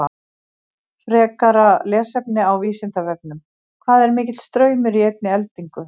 Frekara lesefni á Vísindavefnum: Hvað er mikill straumur í einni eldingu?